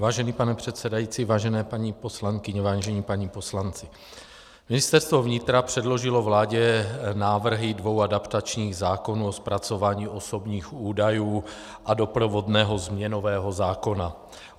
Vážený pane předsedající, vážené paní poslankyně, vážení páni poslanci, Ministerstvo vnitra předložilo vládě návrhy dvou adaptačních zákonů o zpracování osobních údajů a doprovodného změnového zákona.